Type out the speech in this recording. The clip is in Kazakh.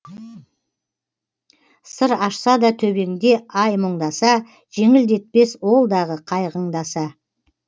сыр ашса да төбеңде ай мұңдаса жеңілдетпес ол дағы қайғыңды аса